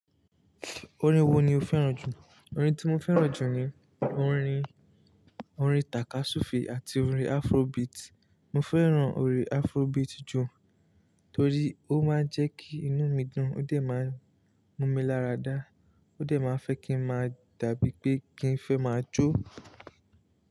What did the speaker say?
Orin wo ni o fẹ́ràn jù? Orin tí mo fẹ́ràn jù ni orin, orin takasufe àti orin "Afrobeat". Mo fẹ́ràn orin Afrobeat jù torí ó máa ń jẹ́ kí inú mi dùn, ó dẹ̀ máa ń mú mi lára dá, ó dẹ̀ máa fẹ́ kí n máa dàbí pé kí n fẹ́ máa jó.